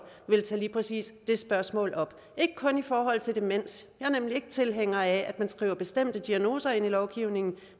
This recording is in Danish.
vil tage lige præcis det spørgsmål op ikke kun i forhold til demens jeg er nemlig ikke tilhænger af at man skriver bestemte diagnoser ind i lovgivningen